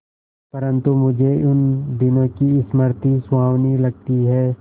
परंतु मुझे उन दिनों की स्मृति सुहावनी लगती है